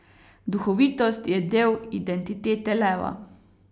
Duhovitost je del identitete leva.